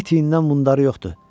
İt iyindən mundarı yoxdur.